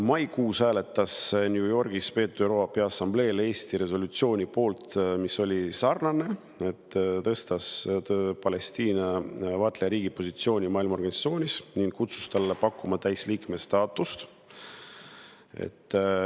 Maikuus hääletas Eesti New Yorgis peetud ÜRO Peaassambleel sellise resolutsiooni poolt, mis oli sarnane: tõstis Palestiina ÜRO vaatlejariigi positsiooni maailmaorganisatsioonis ning kutsus üles talle pakkuma täisliikme staatust.